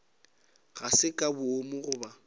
ga se ka boomo goba